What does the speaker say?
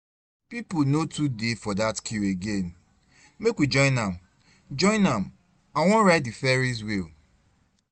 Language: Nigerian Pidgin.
People no too dey for that queue again, make we join am join am, I wan ride the ferry's wheel